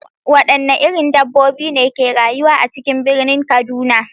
Wadanne irin dabbobi ne ke rayuwa a cikin birnin kaduna?